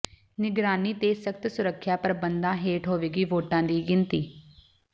ਨਿਗਰਾਨੀ ਤੇ ਸਖ਼ਤ ਸੁਰੱਖਿਆ ਪ੍ਰਬੰਧਾਂ ਹੇਠ ਹੋਵੇਗੀ ਵੋਟਾਂ ਦੀ ਗਿਣਤੀ